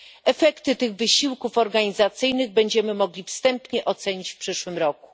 Efekty tych wysiłków organizacyjnych będziemy mogli wstępnie ocenić w przyszłym roku.